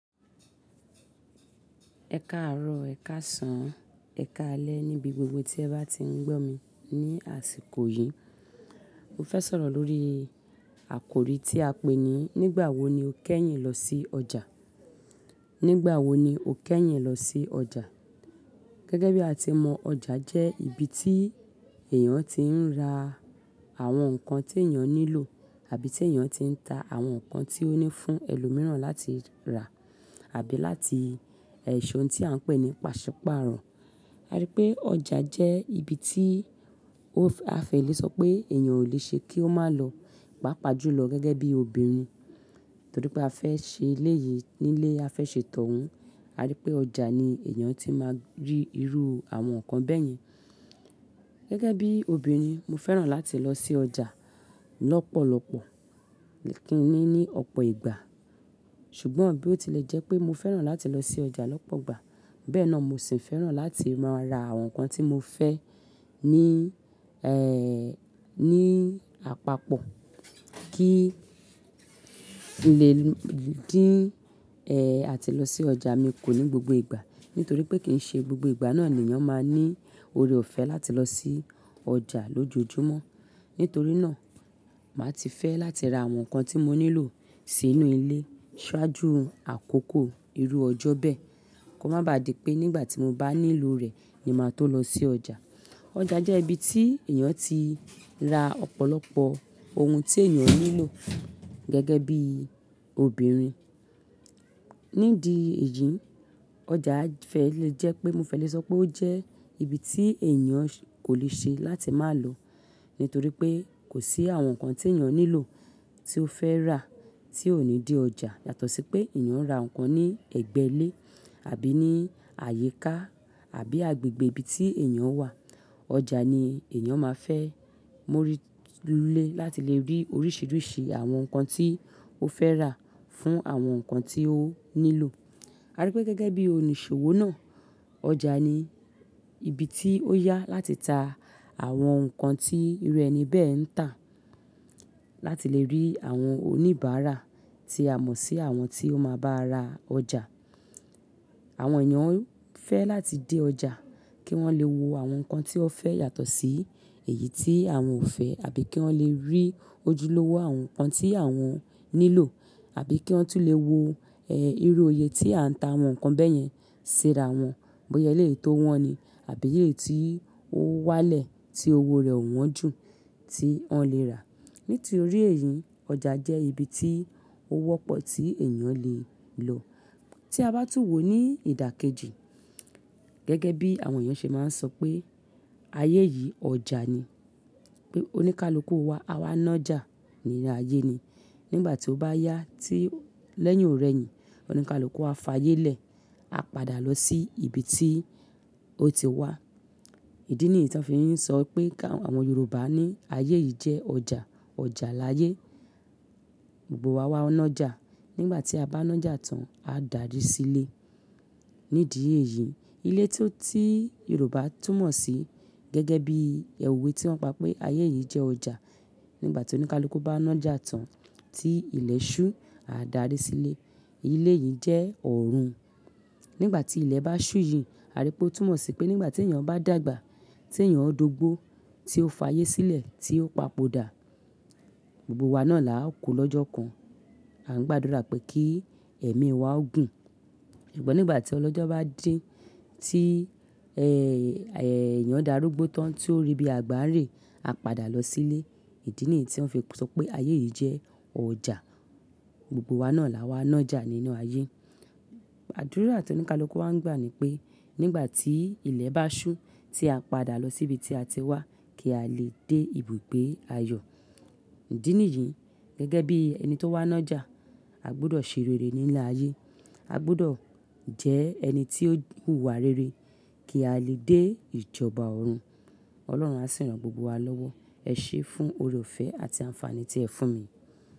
Ẹ káàárọ̀, ẹ̀ káàsán, ẹ̀ káalẹ́ níbi gbogbo tí ẹ bá ti ń gbọ̀ mí ní àsìkò yìí. Mo fẹ́ sọ̀rọ̀ lórí àkòrí tí a pé ní "Nígbà wo ni o kẹ́yìn lọ sí ọjà?" Nígbà wo ni o kẹ́yìn lọ sí ọjà? Gẹ́gẹ́ bí a ti mọ̀, ọjà jẹ́ ibi tí èèyàn ti ń ra àwọn nǹkan tí èèyàn nílò àbí tí èèyàn ti ń ta àwọn nǹkan tí ó ní fún ẹlòmíràn láti rà àbí láti ẹ̀ ṣe ohun tí à ń pè ní pàṣípààrọ̀. A rí pé ọjà jẹ́ ibi tí ó fe a fẹ́ lè sọ pé èèyàn ò lè ṣe kí ó má lọ, pàápàá jùlọ gẹ́gẹ́ bí obìnrin, torí pé a fẹ́ ṣe ilé yìí nílé a fẹ́ ṣe tọ̀ ọ́n. A rí pé ọjà ni èèyàn ti máa rí irú àwọn nǹkan bẹ́yẹn. Gẹ́gẹ́ bí obìnrin, mo fẹ́ràn láti lọ sí ọjà lọ́pọ̀lọpọ̀ kín ní ní ọ̀pọ̀ ìgbà. Ṣùgbọ́n bí ó tilẹ̀ jẹ́ pé mo fẹ́ràn láti lọ sí ọjà lọ́pọ̀ ìgbà, bẹ́ẹ̀ náà mo sì ń fẹ́ràn láti máa ra àwọn nǹkan tí mo fẹ́ ní, ẹ́, ní àpapọ̀ kí lè kí, ẹ́, àti lọ sí ọjà mi kò ní gbogbo ìgbà nítorí pé kìn ṣe gbogbo ìgbà náà ni èèyàn máa ní oore ọ̀fẹ́ láti lọ sí ọjà lójoojúmọ́. Nítorí náà, màá ti fẹ́ láti ra àwọn nǹkan tí mo nílò sí inú ilé ṣáájú àkókò irú ọjọ́ bẹ́ẹ̀ kó má baà di pé nígbà tí mo bá nílò rẹ̀ ni màá tó lọ sí ọjà. Ọjà jẹ́ ibi tí èèyàn ti rà ọ̀pọ̀lọpọ̀ ohun tí èèyàn nílò gẹ́gẹ́ bí obìnrin. Nídi èyí, ọjà fẹ́ lè jẹ́ pé mo fẹ́ lè sọ pé ó jẹ́ ibi tí èèyàn kò lè ṣe láti má lọ nítorí pé kò sí àwọn nǹkan tí èèyàn nílò tí ó fẹ́ rà tí ò ní dé ọjà yàtọ̀ sí pé èèyàn rà nǹkan ní ẹ̀gbẹ́ ilé àbí ní àyíká àbí agbègbè ibi tí èèyàn wà. Ọjà ni èèyàn máa fẹ́ móri lé láti lè rí oríṣiríṣi àwọn nǹkan tí ó fẹ́ rà fún àwọn nǹkan tí ó nílò. A rí pé gẹ́gẹ́ bí onìṣòwò náà, ọjà ni ibi tí ó yá láti ta àwọn nǹkan tí irú ẹni bẹ́ẹ̀ ń tà láti lè rí àwọn oníbàárà tí a mọ̀ sí àwọn tí ó máa bá a ra ọjà. Àwọn èèyàn fẹ́ láti dé ọjà kí wọ́n lè wo àwọn nǹkan tí wọ́n fẹ́ yàtọ̀ sí èyí tí àwọn ò fẹ́ àbí kí wọ́n lè rí ojúlówó àwọn nǹkan tí àwọn nílò àbí kí wọ́n tún lè wo, ẹ́, irú òye tí à ń ta àwọn nǹkan bẹ́yẹn síra wọn, bóyá e léyìí tò wọn ni àbí èyi tí ó wálẹ̀ tí owó rẹ̀ ò wọ́n jù tí wọ́n lè rà. Nítorí èyí, ọjà jẹ́ ibi tí ó wọ́pọ̀ tí èèyàn lè ń lọ. Tí a bá tún wò ó ní ìdàkejì, gẹ́gẹ́ bí àwọn èèyàn ṣe máa ń sọ pé ayé yìí ọjà ni, pé oníkálukú wa a wá nájà nínú ayé ni. Nígbà tí ó bá yá tí lẹ́yìn ò rẹ́ yìí oníkálukú á fa ayé lẹ̀, a padà lọ sí ibi tí ó ti wá. Ìdí nìyí tí wọ́n fi ń sọ pé káwọn Yorùbá ní "Ayé yìí jẹ́ ọjà, ọjà láyé. Gbogbo wa wá nájà, nígbà tí a bá nájà tán, a dàri sílé." Nídìí èyí, ilé tí ó ti Yorùbá tún mọ̀ sí gẹ́gẹ́ bí òwe tí wọ́n pa pé "Ayé yìí jẹ́ ọjà, nígbà tí oníkálukú bá nájà tán tí ilẹ̀ ṣú, a dàri sílé." Ilé yìí jẹ́ ọ̀run. Nígbà tí ilẹ̀ bá ṣú yìí, a rí pé ó tún mọ̀ sí pé nígbà tí èèyàn bá dàgbà, tí èèyàn dógbo, tí ó fa ayé sílẹ̀, tí ó papòdà, gbogbo wa náà la ó ku lọ́jọ́ kan. A ń gbàdúrà pé kí ẹ̀mí wa ó gùn. Ṣùgbọ́n nígbà tí ọlọ́jọ́ bá dé tí, ẹ́, èèyàn darúgbó tán tí ó rí bí àgbà rẹ̀, a padà lọ sílé. Ìdí nìyí tí wọ́n fi ń sọ pé "Ayé yìí jẹ́ ọjà, gbogbo wa náà la wá nájà nínú ayé." Àdúrà tí oníkálukú wa ń gbà ni pé nígbà tí ilẹ̀ bá ṣú tí a padà lọ sí ibi tí a ti wá kí a lè dé ibùgbé ayọ̀. Ídìí niyìí, gẹ́gẹ́ bí ẹni tó wá nájà, a gbọdọ̀ ṣe rere nílé ayé. A gbudọ̀ jẹ́ ẹni tí ó hùwà rere kí a lè dé ìjọba ọ̀run. Ọlọ́run á sì rán gbogbo wa lọ́wọ́. Ẹ ṣé fún oore ọ̀fẹ́ àti àǹfààní tí ẹ fún mi.